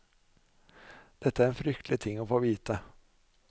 Dette er en fryktelig ting å få vite.